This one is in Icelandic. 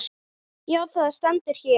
Já, það stendur hér.